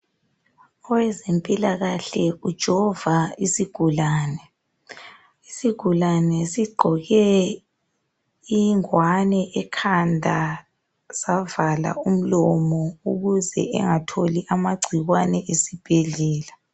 Owezempilakahle ujova isigulane. Isigulane sigqoke ingowane ekhanda savala umlomo ukuze engatholi amagcikwane esibhedlela.